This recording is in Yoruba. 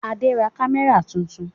Adé ra kámẹ́rà tuntun.